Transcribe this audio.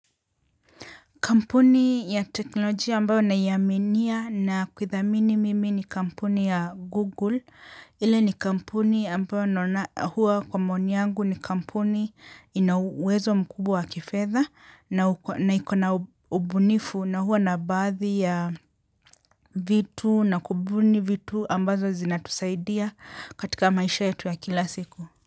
Kampuni ya teknolojia ambayo nayaminia na kuithamini mimi ni kampuni ya Google, ile ni kampuni ambayo huwa kwa maoni yangu ni kampuni inauwezo mkubwa wa kifedha na iko na ubunifu na huwa na baadhi ya vitu na kubuni vitu ambazo zinatusaidia katika maisha yetu ya kila siku.